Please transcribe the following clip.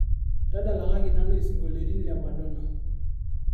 tadalakaki nanu isingolioitin le madonna